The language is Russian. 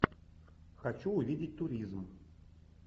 хочу увидеть туризм